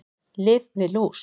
Lyf við lús